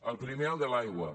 el primer el de l’aigua